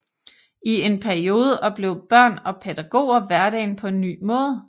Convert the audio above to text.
I en periode oplevede børn og pædagoger hverdagen på en ny måde